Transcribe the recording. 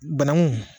Banangun